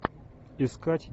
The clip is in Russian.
искать